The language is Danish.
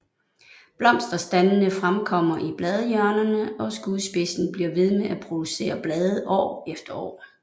Blomsterstandene fremkommer i bladhjørnerne og skudspidsen bliver ved med at producere blade år efter år